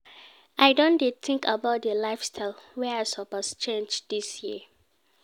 I don dey tink about di lifestyle wey I suppose change dis year.